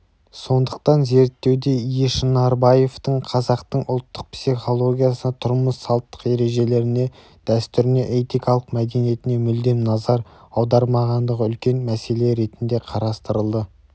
сондықтан зерттеуде ешынарбаевтың қазақтың ұлттық психологиясына тұрмыс салттық ережелеріне дәстүріне этикалық мәдениетіне мүлдем назар аудармағандығы үлкен мәселе ретінде қарастырылды